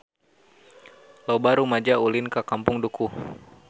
Loba rumaja ulin ka Kampung Dukuh